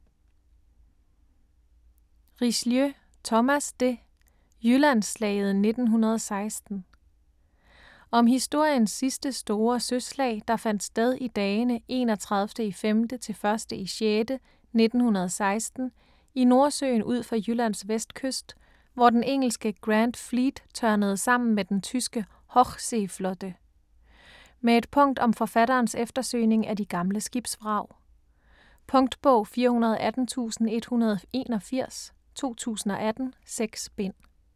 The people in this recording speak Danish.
Richelieu, Thomas de: Jyllandsslaget 1916 Om historiens sidste store søslag der fandt sted i dagene 31.5.-1.6.1916 i Nordsøen ud for Jyllands vestkyst, hvor den engelske Grand Fleet tørnede sammen med den tyske Hochseeflotte. Med et afsnit om forfatterens eftersøgning af de gamle skibsvrag. Punktbog 418181 2018. 6 bind.